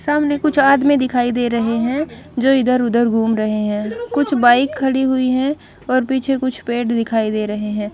सामने कुछ आदमी दिखाई दे रहे हैं जो इधर-उधर घूम रहे हैं कुछ बाइक खड़ी हुई हैं और पीछे कुछ पेड़ दिखाई दे रहे हैं।